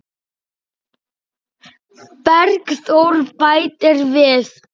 Bergþór bætir við.